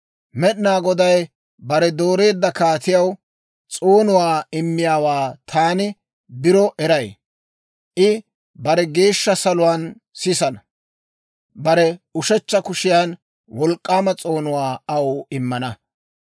Med'inaa Goday bare dooreedda kaatiyaw s'oonuwaa immiyaawaa taani biro eray. I bare geeshsha saluwaan sisana; bare ushechcha kushiyan wolk'k'aama s'oonuwaa aw immana.